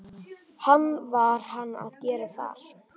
Hvað var hann að gera þar?